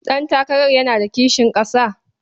Ɗantakarar yana da kishin ƙasa?